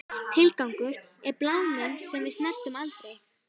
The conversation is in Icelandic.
Tilgangur, er það bláminn sem við snertum aldrei?